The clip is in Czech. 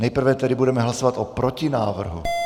Nejprve tedy budeme hlasovat o protinávrhu.